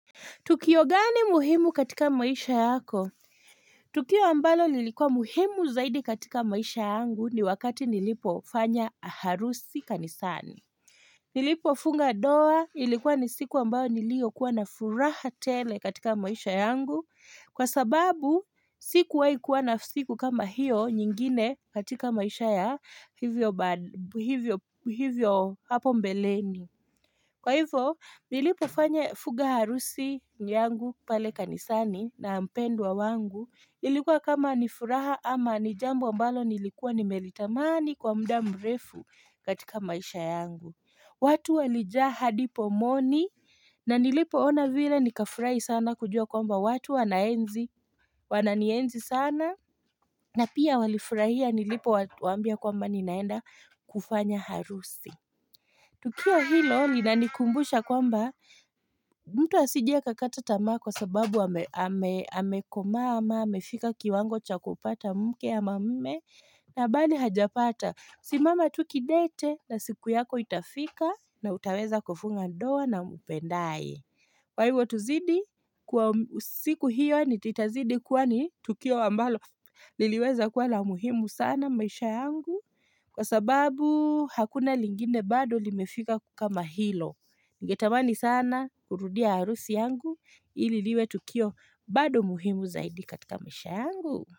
Tukio gani muhimu katika maisha yako? Tukio ambalo lilikuwa muhimu zaidi katika maisha yangu ni wakati nilipo fanya harusi kanisani. Nilipo funga doa ilikuwa ni siku ambayo nilio kuwa na furaha tele katika maisha yangu. Kwa sababu siku wai kuwa na siku kama hiyo nyingine katika maisha ya hivyo hapo mbeleni. Kwa hivyo, nilipo fanya fuga harusi yangu pale kanisani na mpendwa wangu, ilikuwa kama nifuraha ama nijambo ambalo nilikuwa nimeritamani kwa mda mrefu katika maisha yangu. Watu walijaha hadipo moni na nilipo ona vile nika furahi sana kujua kwamba watu wanaenzi, wananienzi sana na pia walifurahia nilipo watu waambia kwamba ninaenda kufanya harusi. Tukio hilo linanikumbusha kwamba mtu asije a kakata tamaa kwa sababu amekomaa ama amefika kiwango cha kupata mke ama mme na bali hajapata. Simama tukidete na siku yako itafika na utaweza kufunga ndoa na umpendaye. Kwa hivyo tuzidi kwa siku hiyo nititazidi kuwani tukio ambalo liliweza kuwa lamuhimu sana maisha yangu kwa sababu hakuna lingine bado limefika kama hilo. Ningetamani sana kurudia arusi yangu ililiwe tukio bado muhimu zaidi katika maisha yangu.